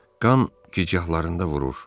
Qan gicgahlarında vurur.